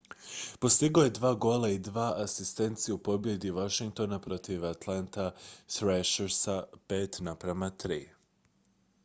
postigao je 2 gola i 2 asistencije u pobjedi washingtona protiv atlanta thrashersa 5:3